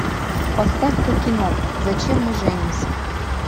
поставь ка кино зачем мы женимся